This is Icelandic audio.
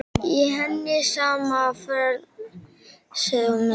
Í henni sama frelsið og minni.